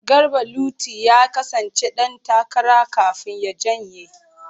Garba Luti ya kasance dan takara kafin ya janye.